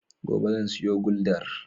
Gobe zan siyo guldar.